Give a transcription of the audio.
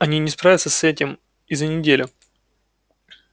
они не справятся с ними и за неделю